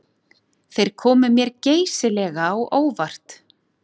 Þeir komu mér geysilega á óvart